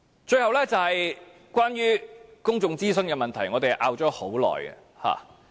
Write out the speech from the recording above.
最後，是關於公眾諮詢的問題，我們爭拗已久。